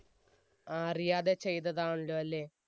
അറിയാതെ ചെയ്തതാണല്ലോ അല്ലെ